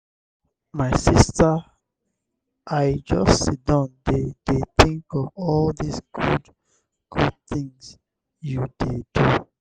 my sista i just siddon dey dey tink of all di good-good tins you dey do.